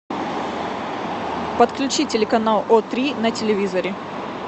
подключи телеканал о три на телевизоре